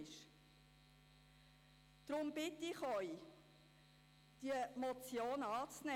Deshalb bitte ich Sie, diese Motion anzunehmen.